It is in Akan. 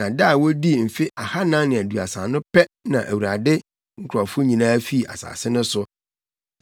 Na da a wodii mfe ahannan ne aduasa no pɛ na Awurade nkurɔfo nyinaa fii asase no so.